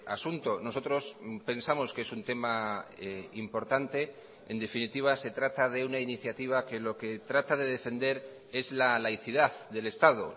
asunto nosotros pensamos que es un tema importante en definitiva se trata de una iniciativa que lo que trata de defender es la laicidad del estado